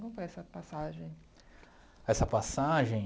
Como foi essa passagem? Essa passagem...